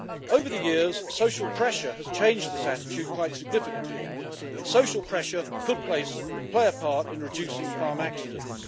Over the years, social pressure has changed this attitude quite significantly, and social pressure could play a part in reducing farm accidents.